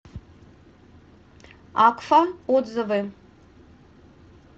акфа отзывы